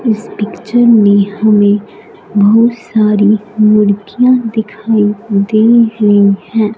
इस पिक्चर हमें बहुत सारी मुर्गियां दिखाई दे हुई हैं।